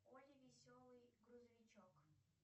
олли веселый грузовичок